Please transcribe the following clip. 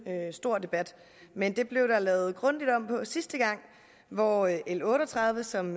stor debat men det blev der lavet grundigt om på sidste gang hvor l l otte og tredive som